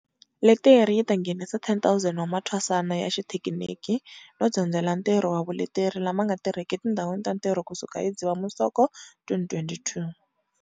Leteri yi ta nghenisa 10 000 wa mathwasana ya xithekiniki no dyondzela ntirho na vuleteri lama nga tirhiki etindhawini ta ntirho kusuka hi Dzivamisoko 2022.